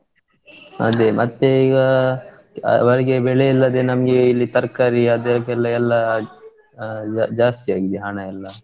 ಅದೇ ಮತ್ತೇ ಈಗ ಅವರಿಗೆ ಬೆಳೆ ಇಲ್ಲದೆ ನಮ್ಗೆ ಇಲ್ಲಿ ತರ್ಕಾರಿ ಅದಕ್ಕೆಲ್ಲಾ ಜಾಸ್ತಿ ಆಗಿದೆ ಹಣ ಎಲ್ಲಾ.